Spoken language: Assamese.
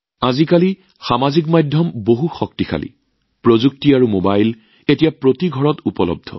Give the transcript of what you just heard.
আজিকালি ছচিয়েল মিডিয়াৰ শক্তি অপৰিসীম প্ৰযুক্তি আৰু মবাইলে ঘৰে ঘৰে গৈছে